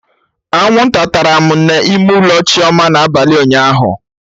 Anwụnta tara m n'ime ụlọ Chioma na abalị ụnyaahụ